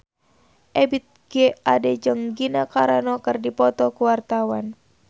Ebith G. Ade jeung Gina Carano keur dipoto ku wartawan